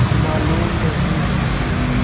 मालूम नहीं